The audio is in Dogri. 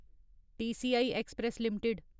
TCI express limited